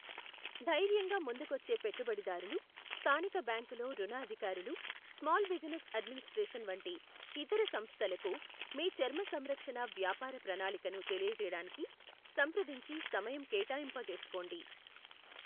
ధైర్యంగా ముందుకొచ్చే పెట్టుబడిదారులు, స్థానిక బ్యాంకులో రుణ అధికారులు, స్మాల్ బిజినెస్ అడ్మినిస్ట్రేషన్ వంటి ఇతర సంస్థలకు మీ చర్మ సంరక్షణ వ్యాపార ప్రణాళికను తెలియజేయడానికి సంప్రదించి సమయం కేటాయింపచేసుకోండి.